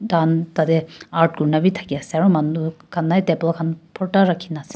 Tahan tatae art kurina bhi thakey ase aro manu khan nai table khan phorta rakhina ase.